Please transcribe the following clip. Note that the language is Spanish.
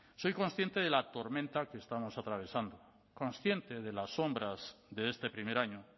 soy consciente de la tormenta que estamos atravesando consciente de las sombras de este primer año